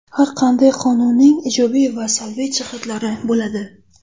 Har qanday qonunning ijobiy va salbiy jihatlari bo‘ladi.